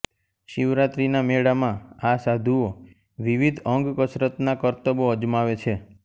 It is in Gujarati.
શિવરાત્રીના મેળામાં આ સાધુઓ વિવિધ અંગકસરતના કરતબો અજમાવે છે